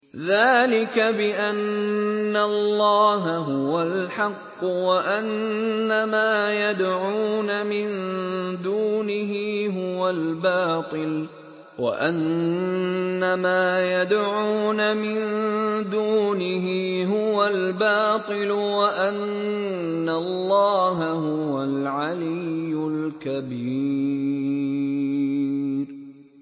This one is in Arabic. ذَٰلِكَ بِأَنَّ اللَّهَ هُوَ الْحَقُّ وَأَنَّ مَا يَدْعُونَ مِن دُونِهِ هُوَ الْبَاطِلُ وَأَنَّ اللَّهَ هُوَ الْعَلِيُّ الْكَبِيرُ